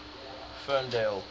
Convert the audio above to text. ferndale